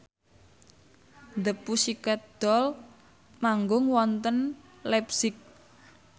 The Pussycat Dolls manggung wonten leipzig